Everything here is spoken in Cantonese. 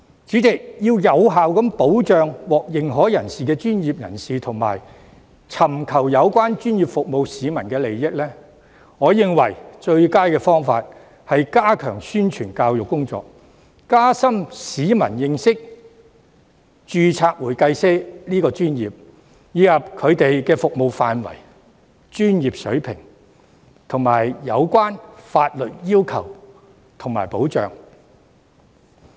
主席，要有效保障獲認可專業人士及尋求有關專業服務的市民的利益，我認為最佳方法是加強宣傳教育工作，加深市民對註冊會計師這個專業的認識，以及其服務範圍、專業水平及有關的法律要求和保障。